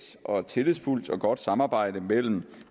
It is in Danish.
tillidsfuldt og godt samarbejde mellem